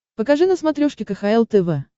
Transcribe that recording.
покажи на смотрешке кхл тв